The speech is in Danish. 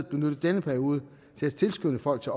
benytte denne periode til at tilskynde folk til